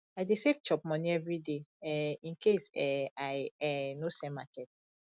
i dey save chop moni everyday um incase um i um no sell market